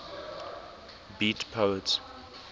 beat poets